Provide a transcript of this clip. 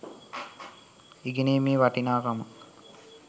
ඉගෙනීමේ වටිනාකම